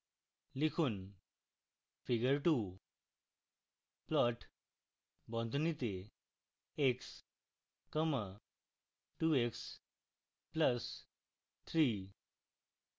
লিখুন: figure 2